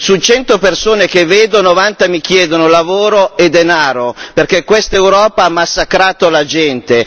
Su cento persone che vedo, novanta mi chiedono lavoro e denaro, perché questa Europa ha massacrato la gente.